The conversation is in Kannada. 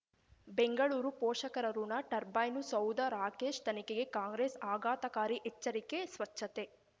ಬೆಂಗಳೂರು ಪೋಷಕರಋಣ ಟರ್ಬೈನು ಸೌಧ ರಾಕೇಶ್ ತನಿಖೆಗೆ ಕಾಂಗ್ರೆಸ್ ಆಘಾತಕಾರಿ ಎಚ್ಚರಿಕೆ ಸ್ವಚ್ಛತೆ